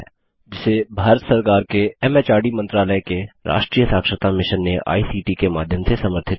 जिसे भारत सरकार के एमएचआरडी मंत्रालय के राष्ट्रीय साक्षरता मिशन ने आई सीटी के माध्यम से समर्थित किया है